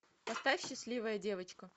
поставь счастливая девочка